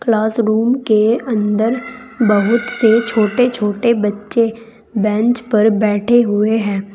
Classroom के अंदर बहुत से छोटे छोटे बच्चे बेंच पर बैठे हुए हैं।